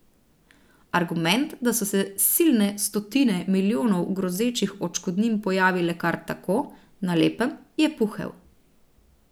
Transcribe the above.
Argument, da so se silne stotine milijonov grozečih odškodnin pojavile kar tako, na lepem, je puhel.